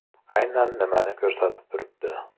Aynan nimani ko‘rsatib turibdi?